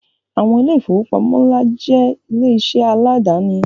Àwọn ilé ìfowópamọ́ ńlá jẹ́ ilé iṣẹ́ aláàdáni